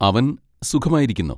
അവൻ സുഖമായിരിക്കുന്നു.